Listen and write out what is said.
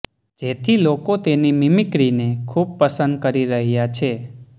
જેથી લોકો તેની મિમિક્રીને ખુબ પસંદ કરી રહ્યા છે